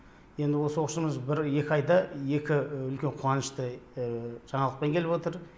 енді осы оқушымыз бір екі айда екі үлкен қуанышты жаңалықпен келіп отыр